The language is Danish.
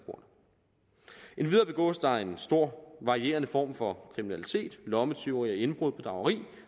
endvidere begås der en stor varierende form for kriminalitet lommetyveri indbrud bedrageri